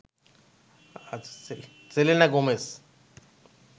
Selena Gomez